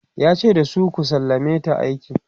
yace da su"ku sallameta a aiki!"